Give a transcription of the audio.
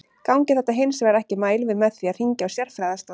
Gangi þetta hins vegar ekki mælum við með því að hringja á sérfræðiaðstoð.